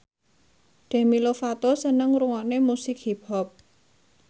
Demi Lovato seneng ngrungokne musik hip hop